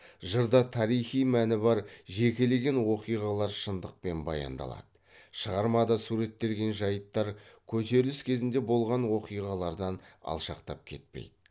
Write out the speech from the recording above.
жырда тарихи мәні бар жекелеген оқиғалар шындықпен баяндалады шығармада суреттелген жайттар көтеріліс кезінде болған окиғалардан алшақтап кетпейді